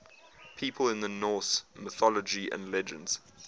people in norse mythology and legends